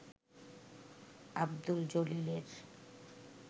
Abdul জলিলের